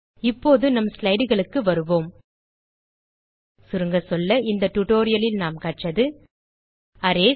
இப்போது நம் slideகளுக்கு வருவோம் சுருங்கசொல்ல இந்த டியூட்டோரியல் லில் நாம் கற்றது அரேஸ்